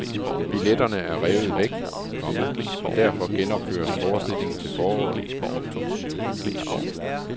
Billetterne er revet væk, komma og derfor genopføres forestillingen til foråret. punktum